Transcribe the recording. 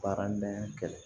Baaradege kɛ